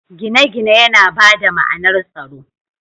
Gine-gine yana ba da ma’anar tsaro.